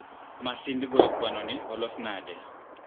masind goyo kwanoni olos nade?